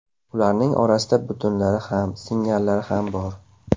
Ularning orasida butunlari ham, singanlari ham bor.